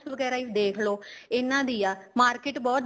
ਵਗੈਰਾ ਹੀ ਦੇਖਲੋ ਇਹਨਾ ਦੀ ਆ market ਬਹੁਤ